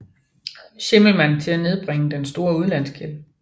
Schimmelmann til at nedbringe den store udlandsgæld